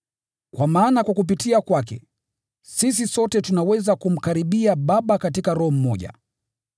Kwa maana kwa kupitia kwake, sisi sote tunaweza kumkaribia Baba katika Roho mmoja.